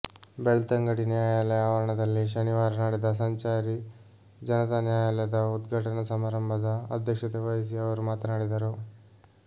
ಬೆಳ್ತಂಗಡಿ ನ್ಯಾಯಾಲಯ ಆವರಣದಲ್ಲಿ ಶನಿವಾರ ನಡೆದ ಸಂಚಾರಿ ಜನತ ನ್ಯಾಯಾಲಯದ ಉದ್ಘಾಟನ ಸಮಾರಂಭದ ಅಧ್ಯಕ್ಷತೆ ವಹಿಸಿ ಅವರು ಮಾತನಾಡಿದರು